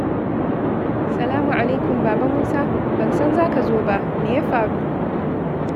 Salamu alaikum, Baba Musa! Ban san za ka zo ba, me ya faru?